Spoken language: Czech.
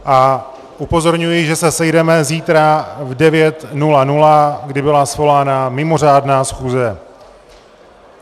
A upozorňuji, že se sejdeme zítra v 9.00, kdy byla svolána mimořádná schůze.